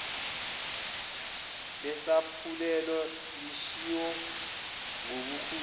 lesaphulelo lishiwo ngubukhulu